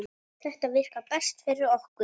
Þetta virkar best fyrir okkur.